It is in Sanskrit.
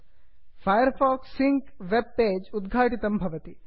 fire fox syncs web page उद्घाटितं भवति